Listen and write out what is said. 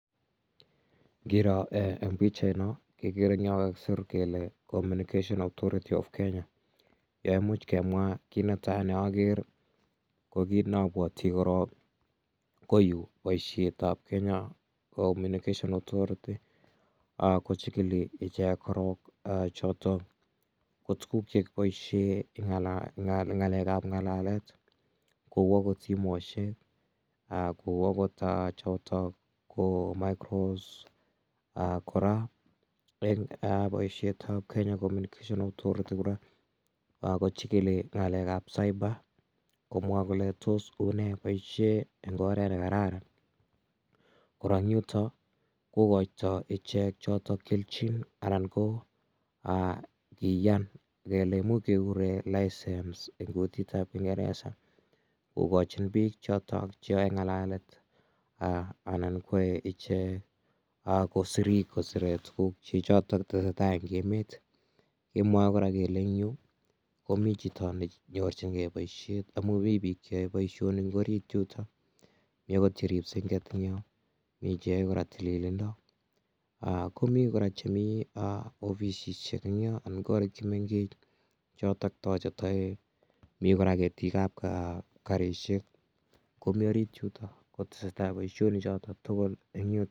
Ngiroo en pichait noo kekere yekokisir kele communication authority of Kenya yeumuch amwa kinetai neokere ko ki neabuati koron ko yu koyoe boisietab Kenya kochikili ichek ko tuguk chekiboisien keng'alal ng'alekab ng'alalet kouagot simoisiek, kou agot choto microphone boisietab Kenya communication authority kora kochikili ng'alekab cyber komwa kole tos unee boisietab oret nekararan, kora yuton kokoito ichek kelchin anan ko kiyaan kele imuche kekuren kingereza kogochin bik choto cheyoe ng'alalet anan ak kosire tugukchechotok tesetai en emeet kemwoe kora kele en yu ko mi chito ne nyorchinge boisiet amun mi biik cheyoe boisionik en orit yutomi ogot cheripse en yo mi cheyoe kora tililindo ko mi kora chemi ofisisiek anan korik chemengech choto toche toek mi kora ketikab karisiek komi orit yuton kotesetai boisioni chotu tugul en yuton .